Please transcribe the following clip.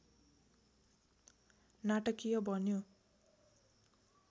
नाटकीय बन्यो